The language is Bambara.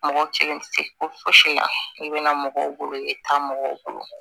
Mɔgɔ kelen tɛ se ko fosi la i bɛna mɔgɔw bolo i bɛ taa mɔgɔw bolo